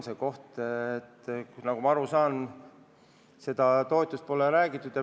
Nagu ma aru saan, seda toetust pole läbi räägitud.